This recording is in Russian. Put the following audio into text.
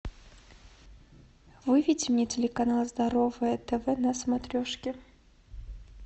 выведи мне телеканал здоровое тв на смотрешке